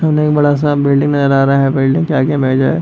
और एक बड़ा-सा बिल्डिंग नज़र आ रहा है बिल्डिंग के आगे में जो है।